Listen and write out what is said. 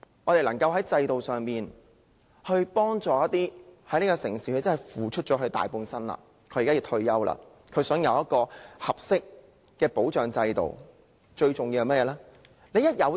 便是在制度上幫助那些為這座城市付出大半生，如今要退休並想得到合適保障制度的人。